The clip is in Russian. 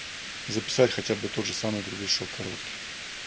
записать хотя бы тоже самое круглешок короткий